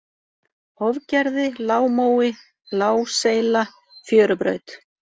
Hofgerði, Lágmói, Lágseyla, Fjörubraut